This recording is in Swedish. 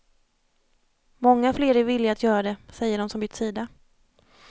Många fler är villiga att göra det, säger de som bytt sida.